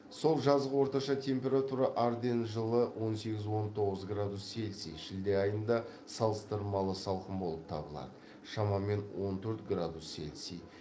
сол жазғы орташа температура арденн жылы он сегіз он тоғыз градус цельсий шілде айында салыстырмалы салқын болып табылады шамамен он төрт градус цельсий